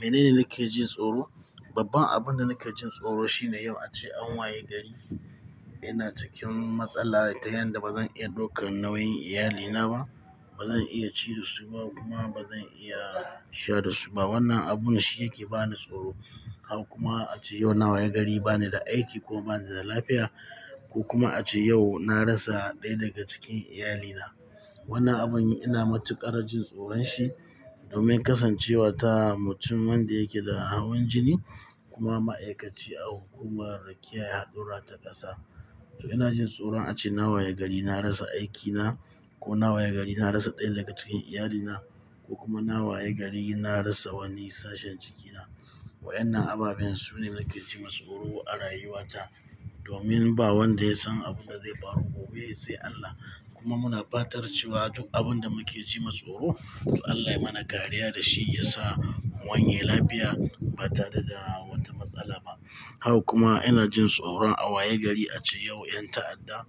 Menene nake jin tsoro? Babban abinda nake jin tsoro shine yau ace an waye gari. Ina cikin matsala ta yanda bazan iya ɗaukan nauyin iyalina ba. Ba zan iya ci da su ba kuma ba zan iya sha da su ba. Wannan abun shi yake bani tsoro. Haka kuma ace yau na wayi gari banida aiki ko banida lafiya. Ko kuma ace yau na rasa ɗaya daga cikin iyalina. Wannan abun ina matuƙar jin tsoron shi domin kasancewa ta mutum wanda yake da hawan jini kuma ma'aikaci a hukumar kiyaye hadurra ta ƙasa. To inajin tsoron ace na waye gari na rasa aikina kona waye gari na rasa ɗaya daga cikin iyalina. Ko kuma na waye gari na rasa wani sashen jikina. Wa'inna ababen sune nake ji ma tsoro a rayuwata domin ba wanda yasan abinda zai faru gobe sai Allah. Kuma muna fatarcewa duk abinda make jima tsoro to Allah ya mana ƙariya dashi yasa mu wanye lafiya ba tare da wata matsala ba. Haka kuma inajin tsoron a waye gari ace yau 'yan ta'adda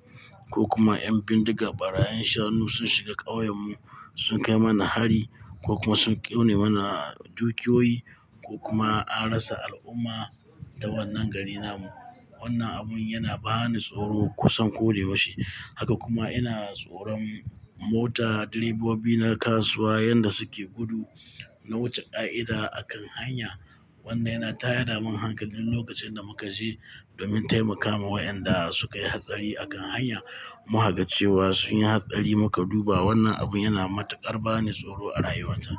ko kuma 'yan bindiga barayin shanu sun shiga ƙauyen mu sun kai mana hari ko kuma sun ƙone mana dukiyoyi ko kuma an rasa al'umma ta wannan gari namu. Wannan abun yana bani tsoro kusan koda yaushe. Haka kuma ina tsoron mota, direbobi na kasuwa yanda suke gudu na wuce ƙa'ida a kan hanya. Wannai na tayada min hankali duk lokacinda muka je domin taimakawa wa'yanda su kai hatsari a kan hanya mu hagaccewa sun yi hatsari muka duba. Wannan abun yana matuƙar bani tsoro a rayuwata.